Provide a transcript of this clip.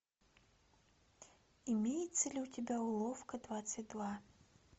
имеется ли у тебя уловка двадцать два